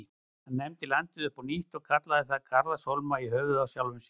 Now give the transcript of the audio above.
Hann nefndi landið upp á nýtt og kallaði það Garðarshólma, í höfuðið á sjálfum sér.